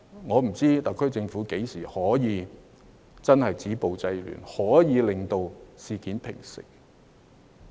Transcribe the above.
我不知道特區政府何時才能夠真正止暴制亂，令事件平息。